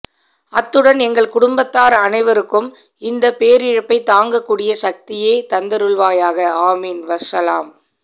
அத்துடன் எங்கள் குடும்பத்தார் அனைவருக்கும் இந்த பேரிழப்பை தாங்க கூடிய சக்தியே தந்தருள்வாயாக ஆமீன் வஸ்ஸலாம்